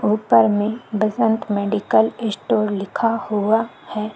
ऊपर में Basant medical store लिखा हुआ है।